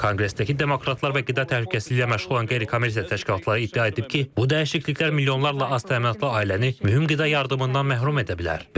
Konqresdəki demokratlar və qida təhlükəsizliyi ilə məşğul olan qeyri-kommersiya təşkilatları iddia edib ki, bu dəyişikliklər milyonlarla az təminatlı ailəni mühüm qida yardımından məhrum edə bilər.